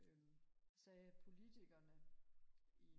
øhm sagde at politikerne